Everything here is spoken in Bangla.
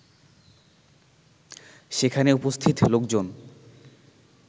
সেখানে উপস্থিত লোকজন